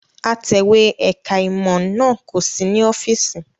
Atẹ̀wé ẹ̀ka-ìmọ̀ náà kò sí ní ọ́fíísì.